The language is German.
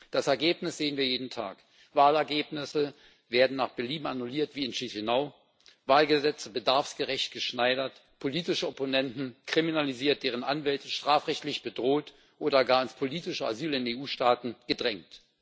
Das Ergebnis sehen wir jeden Tag Wahlergebnisse werden wie in Chișinău nach Belieben annulliert, Wahlgesetze bedarfsgerecht geschneidert, politische Opponenten kriminalisiert, deren Anwälte strafrechtlich bedroht oder gar ins politische Asyl in EU Staaten gedrängt.